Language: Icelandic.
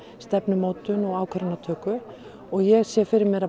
stefnumótun og ákvarðanatöku og ég sé fyrir mér að